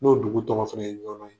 N'o dugu tɔgɔ fana ye